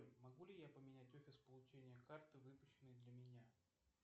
могу ли я поменять офис получения карты выпущенной для меня